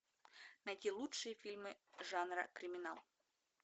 найти лучшие фильмы жанра криминал